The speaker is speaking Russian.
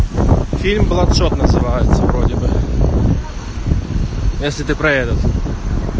фильм блэкшот называется вроде бы если ты про этот